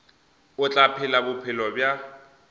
o tla phela bophelo bja